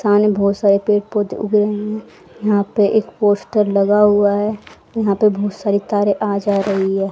सामने बहुत सारे पेड़ पौधे उगे हुए हैं यहां पे एक पोस्टर लगा हुआ है यहां पे बहुत सारी तारें आ जा रही हैं।